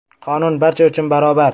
Qonun barcha uchun barobar!